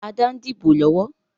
Adé ń dìbò lọ́wọ́